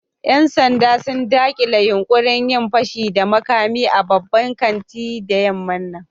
Yan sanda sun dakile yunkurin yin fashi da makami a babban kanti da yamman nan.